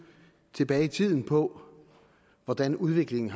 tilbage i tiden på hvordan udviklingen